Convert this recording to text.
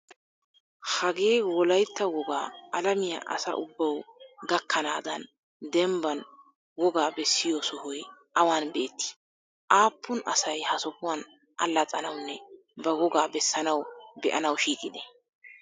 Hagee wolayitta wogaa alamiya asa ubbaw gakanaadaan dembaan wogaa bessiyo sohoy awaan beetti? Aapuun asay ha sohuwaan allaxanawunne ba wogaa bessanaw be'anaw shiiqide?